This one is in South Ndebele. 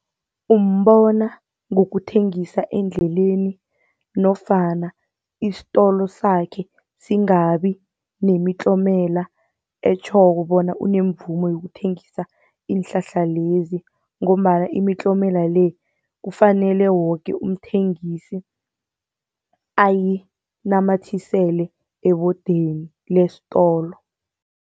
Umbona ngokuthengisa endleleni nofana istolo sakhe singabi nemitlomela, etjhoko bona unemvumo yokuthengisa iinhlahla lezi, ngombana imitlomela le kufanele woke umthengisi ayinamathisele ebodeni lestolo.